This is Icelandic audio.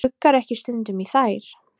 Gluggarðu ekki stundum í þær?